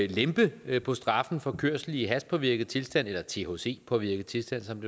lempe på straffen for kørsel i hashpåvirket tilstand eller thc påvirket tilstand som